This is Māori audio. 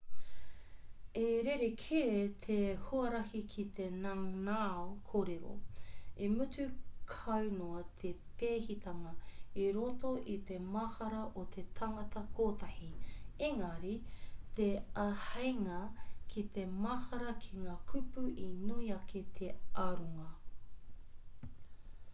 i rerekē te huarahi ki te nanao kōrero i mutu kau noa te pēhitanga i roto i te mahara o te tangata kotahi ēngari te āheinga ki te mahara ki ngā kupu i nui ake te aronga